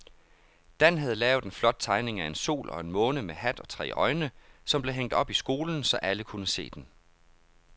Dan havde lavet en flot tegning af en sol og en måne med hat og tre øjne, som blev hængt op i skolen, så alle kunne se den.